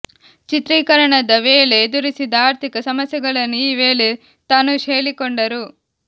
ಚಿತ್ರೀಕರಣದ ವೇಳೆ ಎದುರಿಸಿದ ಆರ್ಥಿಕ ಸಮಸ್ಯೆಗಳನ್ನು ಈ ವೇಳೆ ತನುಷ್ ಹೇಳಿಕೊಂಡರು